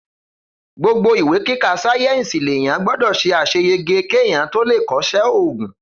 Gbogbo ìwé kíkà sàyẹnsi lẹyàn gbọdọ ṣe àseyege keyan tọ lẹ kọsẹ ògún.